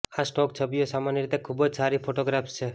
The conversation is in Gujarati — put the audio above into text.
આ સ્ટોક છબીઓ સામાન્ય રીતે ખૂબ જ સારી ફોટોગ્રાફ્સ છે